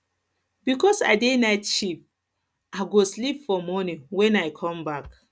because i dey night shift i go sleep for morning wen i come back